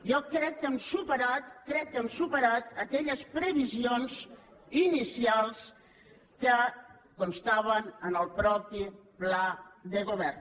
jo crec que hem superat crec que hem superat aquelles previsions inicials que constaven en el mateix pla de govern